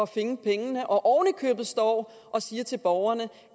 finde pengene og oven i købet står og siger til borgerne